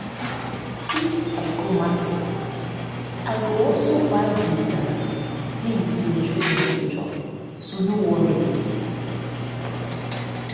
if i go market i go also buy the things your children go chop so no worry